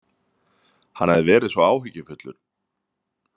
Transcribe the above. Hann hafði verið svo áhyggjufullur.